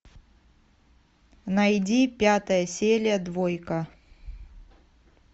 найди пятая серия двойка